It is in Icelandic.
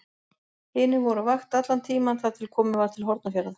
Hinir voru á vakt allan tímann þar til komið var til Hornafjarðar.